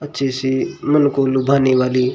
अच्छी सी मन को लुभाने वाली--